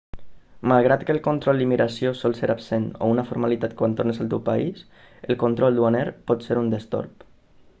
malgrat que el control d'immigració sol ser absent o una formalitat quan tornes al teu país el control duaner pot ser un destorb